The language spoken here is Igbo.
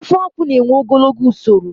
Ofeakwụ na-ewe ogologo usoro